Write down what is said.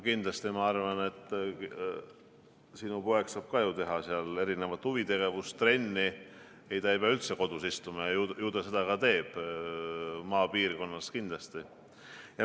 Kindlasti, ma arvan, sinu poeg saab ka ju teha seal erinevat huvitegevust, trenni, ta ei pea üldse kodus istuma, ja ju tal seda ka on, maapiirkonnas kindlasti.